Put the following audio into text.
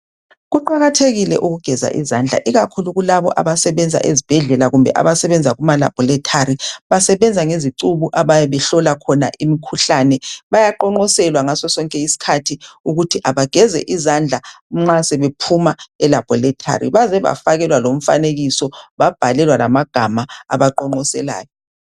Kuqakathekile ukugeza izandla ikakhulu kulabo abasebenza ezibhedlela kumbe abasebenza kumalabholithari ,basebenza ngezicubu abayabehlola khona imikhuhlane bayaqonqoselwa ngaso sonke isikhathi ukuthi abageze izandla nxa sebephuma elabholithari ,baze bafakakelwa lomfanekiso babhalelwa lamagama abaqonqoselayo.